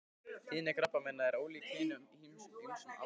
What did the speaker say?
Tíðni krabbameina er ólík í hinum ýmsu aldursflokkum.